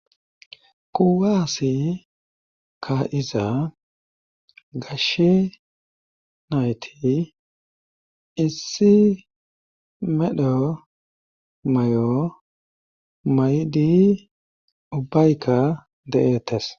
Kuwaase kaa7iza gashe nayti issi medho mayo mayidi ubbayka de7eettes.